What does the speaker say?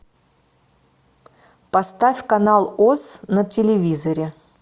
поставь канал оз на телевизоре